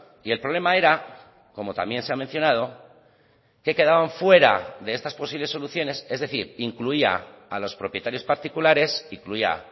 y el problema era como también se ha mencionado que quedaban fuera de estas posibles soluciones es decir incluía a los propietarios particulares incluía